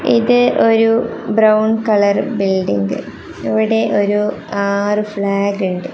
ഇത് ഒരു brown colour building ഇവിടെ ഒരു ആറ് ഫ്ലാഗ് ഇണ്ട്.